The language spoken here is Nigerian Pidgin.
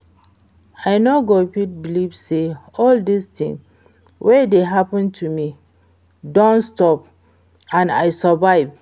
I no go fit believe say all dis thing wey dey happen to me don stop and I survive